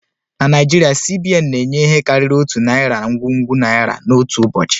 Na Naijiria, C.B.N na-enye ihe karịrị otu narị ngwugwu naira n'otu ụbọchị